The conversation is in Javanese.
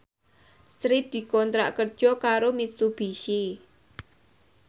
Sri dikontrak kerja karo Mitsubishi